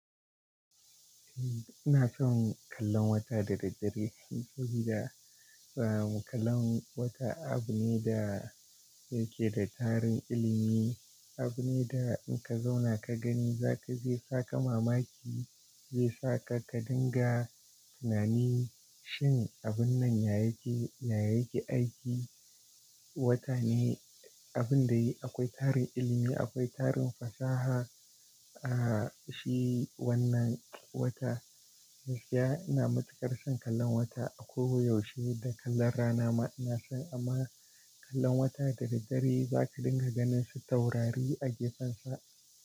Eh, ina son kallon wata da daddare saboda kallon wata abu ne da yake da tarin ilimi, abu ne da in ka zauna ka gani zaka zesaka mamaki, zai saka ka dinga tunani shin abun nan ya yake, ya yake aiki. Wata ne abin da akwai tarin ilimi, akwai tarin fasaha, ah shi wannan wata. Gaskiya ina matukar son kallon wata a ko yaushe da kallon rana ma ina son amma kallon wata da daddare zaka dinga ganin su taurari a gefensa.